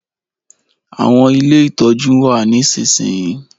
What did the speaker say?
Àwọn ilé ìtọ́jú n wa nisinsinyi